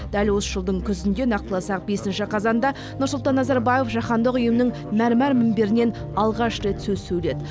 дәл осы жылдың күзінде нақтыласақ бесінші қазанда нұрсұлтан назарбаев жаһандық ұйымның мәрмәр мінберінен алғаш рет сөз сөйледі